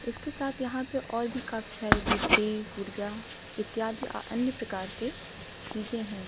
उसके साथ यहां पे और भी काफी सारे गुड्डे गुड़िया इत्यादि अन्य प्रकार के चीजें हैं।